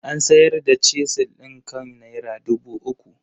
An sayar da Chisel ɗin kan naira dubu uku.